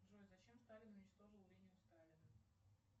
джой зачем сталин уничтожил линию сталина